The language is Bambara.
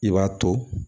I b'a to